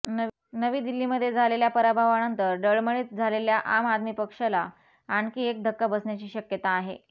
नवी दिल्लीमध्ये झालेल्या पराभवानंतर डळमळीत झालेल्या आम आदमी पक्षला आणखी एक धक्का बसण्याची शक्यता आहे